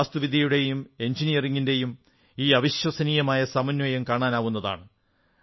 അവിടെ വാസ്തുവിദ്യയുടെയും എഞ്ചിനീയറിംഗിന്റെയും ഈ അവിശ്വസനീയമായ സമന്വയം കാണാവുന്നതാണ്